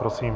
Prosím.